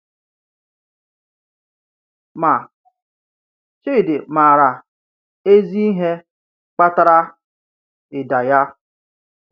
Ma, Chidi maara ezi ihe kpatara ịda ya.